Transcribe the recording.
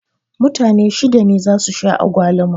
Mutane shida ne za su sha agwaluma